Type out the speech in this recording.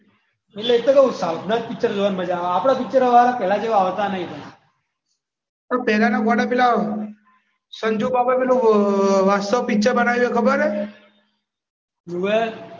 એ તો કઉ સાઉથ ના પિક્ચર જોવાની મજા આવે આપણા પિક્ચર હવે પહેલા જેવા આવતા નહીં પણ પહેલાના ગોડા સંજુ બાબાનું પેલું વાસ્તવ પિક્ચર બનાવ્યું એ ખબર છ?